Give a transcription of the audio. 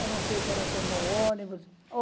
Eu não sei se ela tomou ônibus.